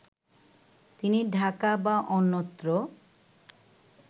তিনি ঢাকা বা অন্যত্র